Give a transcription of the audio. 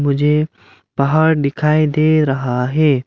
मुझे पहाड़ दिखाई दे रहा है।